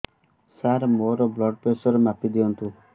ସାର ମୋର blood pressure ମାପି ଦିଅନ୍ତୁ